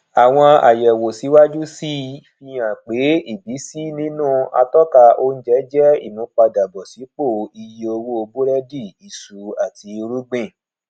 àwọn àyẹwò síwájú sí i fi hàn pé ìbísí nínú atọka oúnjẹ jẹ ìmúpadàbọsípò iye owó búrẹdì isu àti irúgbìn